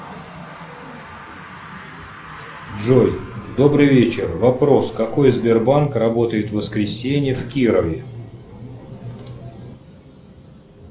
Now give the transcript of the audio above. джой добрый вечер вопрос какой сбербанк работает в воскресенье в кирове